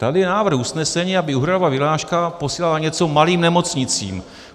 Tady je návrh usnesení, aby úhradová vyhláška posílala něco malým nemocnicím.